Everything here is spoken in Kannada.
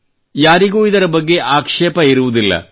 ಯಾರಿಗೂ ಇದರ ಬಗ್ಗೆ ಆಕ್ಷೇಪವಿರುವುದಿಲ್ಲ